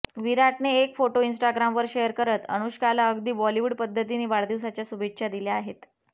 विराटने एक photo Instagram वर शेअर करत अनुष्काला अगदी बॉलीवूड पद्धतीने वाढदिवसाच्या शुभेच्छा दिल्या आहेत